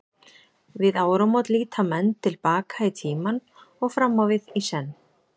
Við áramót líta menn til baka í tímann og fram á við, í senn.